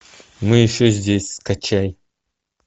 мы еще здесь скачай